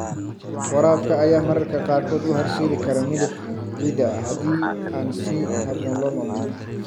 Waraabka ayaa mararka qaarkood u horseedi kara milix ciidda haddii aan si habboon loo maamulin.